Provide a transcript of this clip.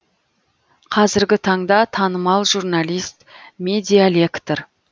қазіргі таңда танымал журналист медиалектор